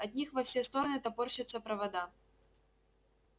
от них во все стороны топорщатся провода